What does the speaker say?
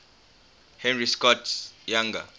henry scott's younger